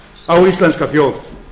á íslenska þjóð